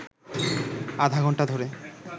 আধাঘণ্টা ধরে